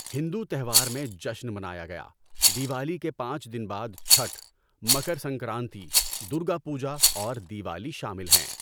ہندو تہوار میں جشن منایا گیا، دیوالی کے پانچ دن بعد چھَٹھ، مکر سنکرانتی، درگا پوجا اور دیوالی شامل ہیں۔